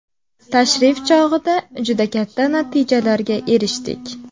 Tashrif chog‘ida juda katta natijalarga erishdik.